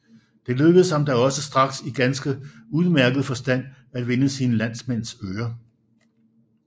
Det lykkedes ham da også straks i ganske udmærket forstand at vinde sine landsmænds øre